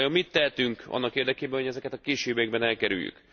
Vajon mit tehetünk annak érdekében, hogy ezeket a későbbiekben elkerüljük?